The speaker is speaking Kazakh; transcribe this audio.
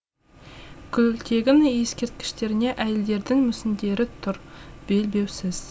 күлтегін ескерткіштеріне әйелдердің мүсіндері тұр белбеусіз